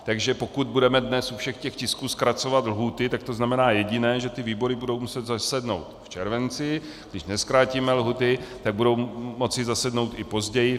Takže pokud budeme dnes u všech těch tisků zkracovat lhůty, tak to znamená jediné - že ty výbory budou muset zasednout v červenci, když nezkrátíme lhůty, tak budou moci zasednout i později.